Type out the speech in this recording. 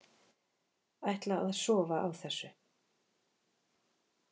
Ætla að sofa á þessu